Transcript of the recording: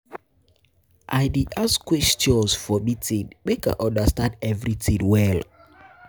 I dey ask questions for meeting, make I understand everytin well.